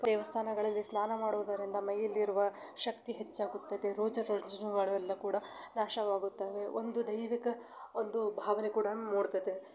ದೇವಸ್ಥಾನಗಳಲ್ಲಿ ಸ್ನಾನ ಮಾಡುದರಿಂದ ಮೈಯಲ್ಲಿ ಇರುವ ಶಕ್ತ ಹೆಚ್ಚಾಗುತ್ತೆ ರೋಗ ರುಜಿನಗಳು ಕೂಡ ನಾಶ ವಾಗುತ್ತದೆ ಒಂದು ಧೈವಿಕ ಭಾವನೆ ಕೂಡ ನು ಮೂಡತ್ತದೆ.